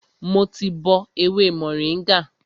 Mo ti bọ ewé mòríngà